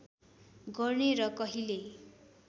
गर्ने र कहिल्यै